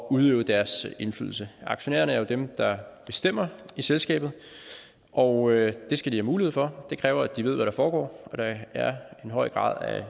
at udøve deres indflydelse aktionærerne er dem der bestemmer i selskabet og det skal de har mulighed for det kræver at de ved hvad der foregår og at der er en høj grad af